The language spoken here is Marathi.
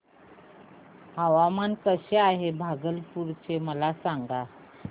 हवामान कसे आहे भागलपुर चे मला सांगा